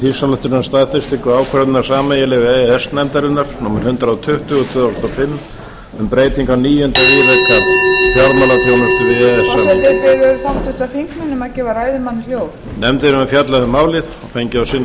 þingsályktunar um staðfestingu ákvörðunar sameiginlegu e e s nefndarinnar númer hundrað tuttugu tvö þúsund og fimm um breytingu á níunda viðauka fjármálaþjónustu e e s samningsins nefndin hefur fjallað um málið og fengið á sinn